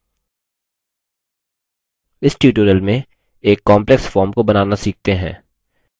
इस tutorial में एक complex form को बनाना सीखते हैं